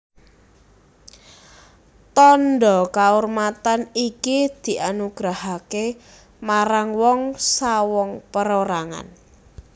Tandha kaurmatan iki dianugerahaké marang wong sawong perorangan